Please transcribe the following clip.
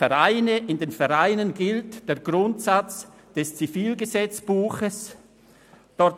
In den Vereinen gilt der Grundsatz des Schweizerischen Zivilgesetzbuchs vom 10. Dezember 1907 (ZGB).